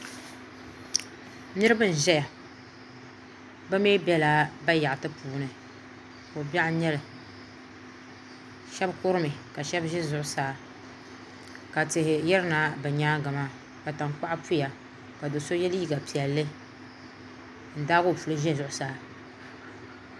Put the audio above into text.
Niraba n ʒɛya bi mii biɛla bayaɣati puuni ko biɛɣu n nyɛli shab kurimi ka shab ʒɛ zuɣusaa ka tihi yirina bi nyaangi maa ka tankpaɣu puya ka do so yɛ liiga piɛlli n daagi o puli ʒɛ zuɣusaa